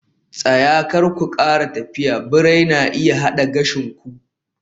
Tsaya! Kar ku kara tafiya birai na iya hada gashin ku